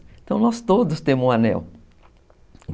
Então, nós todos temos um anel.